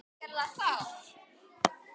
Eða alltaf smá brauði?